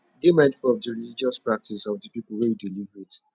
dey mindful of di religious practice of di people wey you dey live with